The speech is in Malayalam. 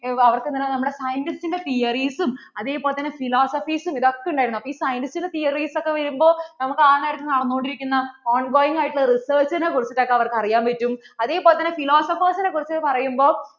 അവർക്ക് ഇങ്ങനെ നമ്മുടെ scientist ന്‍റെ theories ഉം അതെ പോലെ തന്നെ philosophies ഉം ഇതൊക്കെ ഒക്കെ ഉണ്ടായിരുന്നു അപ്പോൾ ഈ scientistthoeries ഒക്കെ വരുമ്പോൾ ആ നേരത്ത് നടന്നു കൊണ്ടിരിക്കുന്ന ongoing ആയിട്ട് ഉള്ള research നെ കുറിച്ചിട്ടു ഒക്കെ അവർക്കു അറിയാൻ പറ്റും അതേപോലെ തന്നെ philosophers കുറിച്ച് പറയുമ്പോൾ